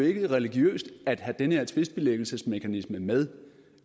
ikke religiøst at have den her tvistbilæggelsesmekanisme med